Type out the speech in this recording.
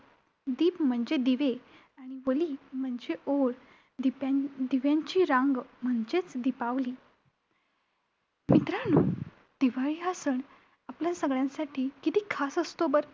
दिप म्हणजे दिवे आणि वली म्हणजे ओळ. दिप्यां~दिव्यांची रांग म्हणजेच दिपावली. मित्रांनो, दिवाळी हा सण आपल्या सगळ्यांसाठी किती खास असतो बरं?